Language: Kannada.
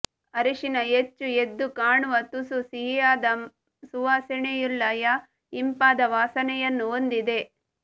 ಅರಿಶಿನ ಹೆಚ್ಚು ಎದ್ದುಕಾಣುವ ತುಸು ಸಿಹಿಯಾದ ಯಾ ಸುವಾಸನೆಯುಳ್ಲ ಯಾ ಇಂಪಾದ ವಾಸನೆಯನ್ನು ಹೊಂದಿದೆ